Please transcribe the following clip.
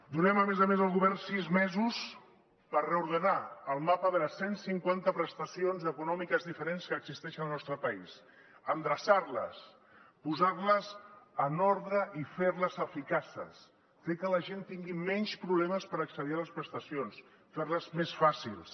donem a més a més al govern sis mesos per reordenar el mapa de les cent cinquanta prestacions econòmiques diferents que existeixen al nostre país endreçar les posar les en ordre i fer les eficaces fer que la gent tingui menys problemes per accedir a les prestacions fer les més fàcils